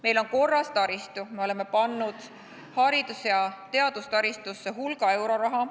Meil on korras taristu, me oleme pannud haridus- ja teadustaristusse hulga euroraha.